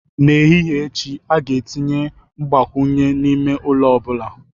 N'ehihie echi, a ga-etinye mgbakwunye n'ime ụlọ ọ bụla